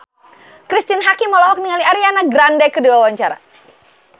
Cristine Hakim olohok ningali Ariana Grande keur diwawancara